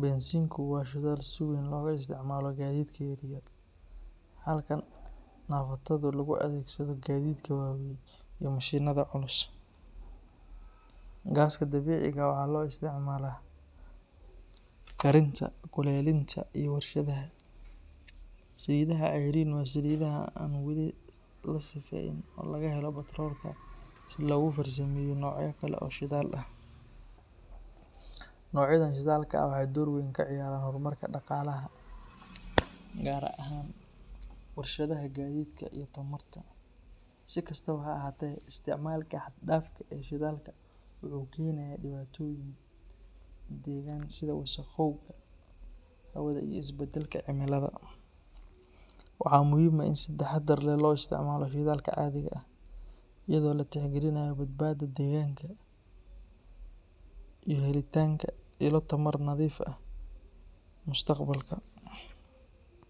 Bensiinku waa shidaal si weyn looga isticmaalo gaadiidka yar yar, halka naaftadu loo adeegsado gaadiidka waaweyn iyo mishiinnada culus. Gaaska dabiiciga ah waxaa loo isticmaalaa karinta, kuleylinta, iyo warshadaha. Saliidaha cayriin ah waa saliidaha aan wali la sifeeynin oo laga helo batroolka si loogu farsameeyo noocyo kale oo shidaal ah. Noocyadan shidaalka ah waxay door weyn ka ciyaaraan horumarka dhaqaalaha, gaar ahaan warshadaha, gaadiidka, iyo tamarta. Si kastaba ha ahaatee, isticmaalka xad-dhaafka ah ee shidaalkaan wuxuu keenaa dhibaatooyin deegaan sida wasakhowga hawada iyo isbedelka cimilada. Waxaa muhiim ah in si taxaddar leh loo isticmaalo shidaalka caadiga ah, iyadoo la tixgelinayo badbaadada deegaanka iyo helitaanka ilo tamar nadiif ah mustaqbalka.